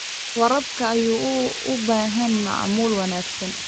Waraabka ayaa u baahan maamul wanaagsan.